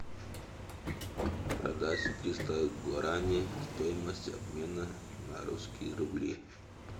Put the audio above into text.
продать триста гуарани стоимость обмена на русские рубли